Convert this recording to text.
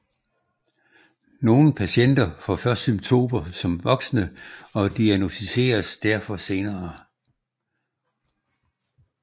Nogle patienter får først symptomer som voksne og diagnosticeres derfor senere